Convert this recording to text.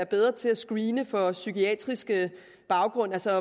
bedre til at screene for psykiatriske baggrunde altså